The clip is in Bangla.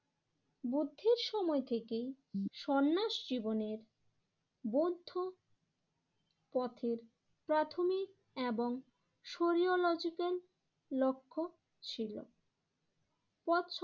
বুদ্ধির সময় থেকেই সন্ন্যাস জীবনের বৌদ্ধ পথের প্রাথমিক এবং শরীয়লজিক্যাল লক্ষ্য ছিল। পথ